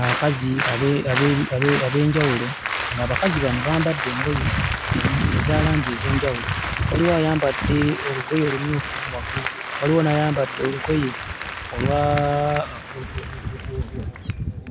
Abakazi abe... abe... abe... ab'enjawulo, ng'abakazi bano bambadde engoye eza langi ez'enjawulo. Waliwo ayambadde olugoye olumyufu waggulu, waliwo n'ayambadde olugoye olwa...